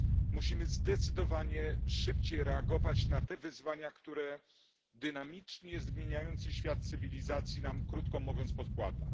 Musimy zdecydowanie szybciej reagować na te wyzwania, które dynamicznie zmieniający świat cywilizacji nam krótko mówiąc podkłada.